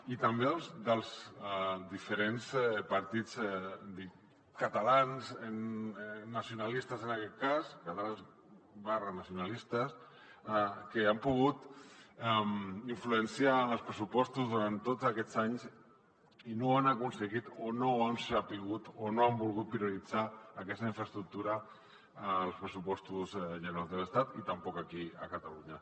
i també dels diferents partits catalans nacionalistes en aquest cas catalans nacionalistes que han pogut influenciar en els pressupostos durant tots aquests anys i no han aconseguit o no han sabut o no han volgut prioritzar aquesta infraestructura als pressupostos generals de l’estat i tampoc aquí a catalunya